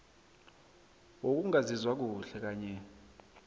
wokungazizwa kuhle kanye